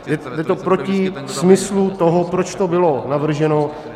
Je to proti smyslu toho, proč to bylo navrženo.